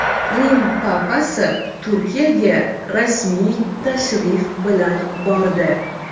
Rim papasi Turkiyaga rasmiy tashrif bilan bordi.